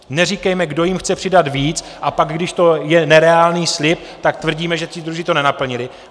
Neříkejme, kdo jim chce přidat víc, a pak, když to je nereálný slib, tak tvrdíme, že ti druzí to nenaplnili.